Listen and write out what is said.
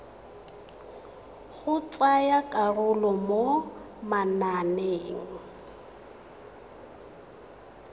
go tsaya karolo mo mananeng